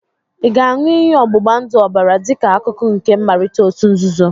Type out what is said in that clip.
Ị ga-aṅụ iyi ọ̀gbụ̀gbàndụ̀ ọbara dịka akụkụ nke mmalite òtù nzuzo?